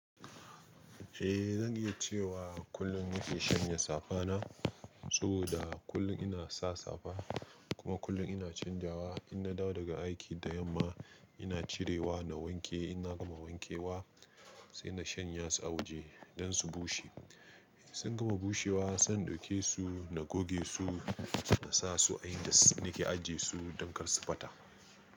Eh, zan iya cewa kullum nake shanya safa na, saboda kullum ina sa safa kuma kullum ina canjawa. In na dawo daga aiki da yamma ina cirewa na wanke, inna gama wankewa sai na shanya su a waje don su bushe. Sun gama bushewa sai in ɗauke su na goge su na sa su a indas nake ajiye su don kar su ɓata.